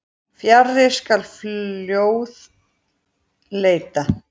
Fjarri skal fljóða leita.